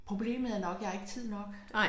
Problemet er nok jeg har ikke tid nok